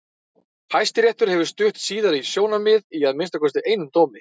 Hæstiréttur hefur stutt síðara sjónarmiðið í að minnsta kosti einum dómi.